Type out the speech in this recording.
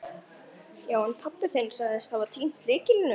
Hver skyldi vera hin sanna umbun vinnunnar fyrir honum?